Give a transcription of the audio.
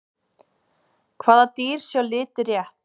hvaða dýr sjá liti rétt